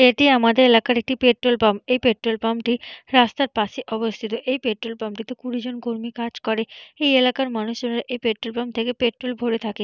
এটি আমাদের এলাকার একটি পেট্রল পাম্প এই পেট্রল পাম্প টি রাস্তার পাশে অবস্থিত এই পেট্রল পাম্প টিতে কুড়ি জন কর্মী কাজ করে এই এলাকার মানুষজনেরা এই পেট্রল পাম্প থেকে পেট্রল ভোরে থাকে।